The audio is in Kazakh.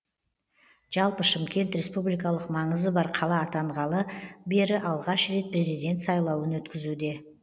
жалпы шымкент республикалық маңызы бар қала атанғалы бері алғаш рет президент сайлауын өткізуде